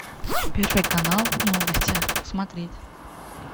первый канал новости смотреть